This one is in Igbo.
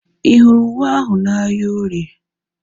Ị hụrụ uwe ahu na ahịa orie?